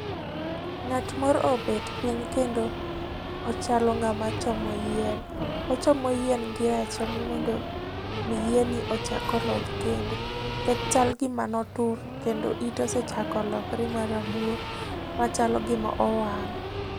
Ng'at moro obet piny kendo ochalo ng'ama chomo yien. Ochomo yien gi rachom mondo omi yien ni ochak oloth kendo. Onyal gima notur kendo ite osechako lokre ma rabuor. Monyalo gima nowang'.